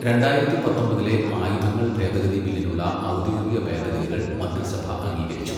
രണ്ടായിരത്തി പത്തൊമ്പതിലെ ആയുധങ്ങൾ ഭേദഗതി ബില്ലിനുള്ള ഔദ്യോഗിക ഭേദഗതികൾ മന്ത്രിസഭ അംഗീകരിച്ചു